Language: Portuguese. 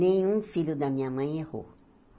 Nenhum filho da minha mãe errou.